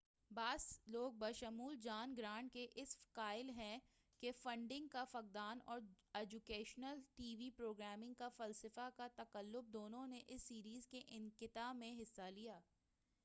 بعض لوگ بشمول جان گرانٹ کے اس کے قائل ہیں کہ فنڈ نگ کا فقدان اور اجوکیشنل ٹی وی پروگرامنگ کے فلسفہ کا تقلب دونوں نے اس سیریز کے انقطاع میں حصہ لیا